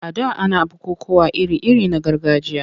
A da ana bukukkuwa iri-iri na gargajiya.